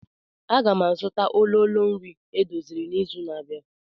Aga m azụta ololo nri edoziri n'izu na-abịa.